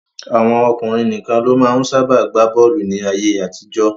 Àwọn ọkùnrin nìkan ló máa ń sábà gbá bọ́ọ̀lù ní ayé-àtijọ́.